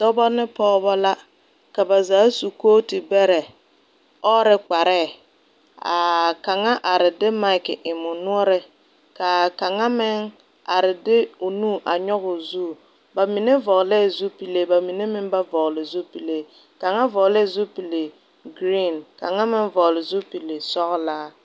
Dɔba ne pɔgba la ka ba zaa su koɔti bere ɔɔre kparee ka kanga arẽ de mik en ɔ noɔring kaa kanga meng arẽ de ɔ nuuri a nyuguu zu ba mene vɔgle zupile ba mene ming ba vɔgle zupile kanga vɔglee zupili green ka kang meng vɔgle zupili sɔglaa.